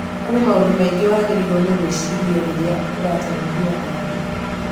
Kũrĩ maũndũ maingĩ wagĩrĩirũo nĩ gwĩciria rĩrĩa ũratwarithia ngari